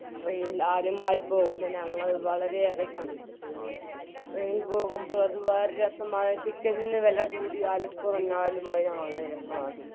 train ഇൽ ആദ്യമായി പോകുന്ന ഞങ്ങൾ വളരെയേറെ സന്തോഷിച്ചിരുന്നു train ഇൽ പോകുമ്പോൾ അത് വേറെ രസമാണ് ticket ന് വില കൂടിയാലും കുറഞ്ഞാലും വേറെ വളരെ നല്ല രസമാണ്